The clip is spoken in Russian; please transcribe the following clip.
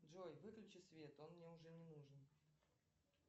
джой выключи свет он мне уже не нужен